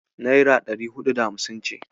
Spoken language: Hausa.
Naira ɗari huɗu da hamsin ce.